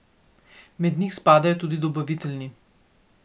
Med njih spadajo tudi dobavitelji.